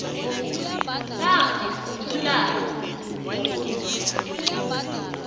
namkha umlayo wekundla